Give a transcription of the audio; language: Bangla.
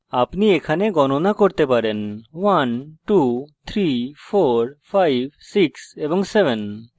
আপনি এখানে গণনা করতে পারেন 123456 এবং 7